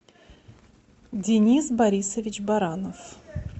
денис борисович баранов